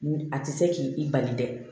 A tɛ se k'i bali dɛ